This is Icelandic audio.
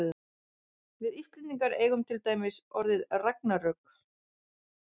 við íslendingar eigum til dæmis orðið ragnarök